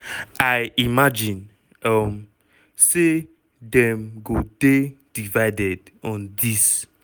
i imagine um say dem go dey divided on dis."